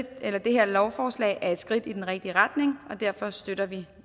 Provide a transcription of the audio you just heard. at det her lovforslag er et skridt i den rigtige retning og derfor støtter vi